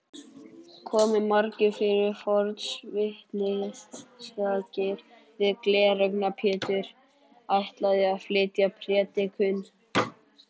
Komu margir fyrir forvitnisakir því Gleraugna-Pétur ætlaði að flytja prédikun.